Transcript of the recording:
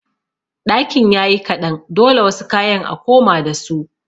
Ɗakin yayi kaɗan dole wasu kayan a koma dasu.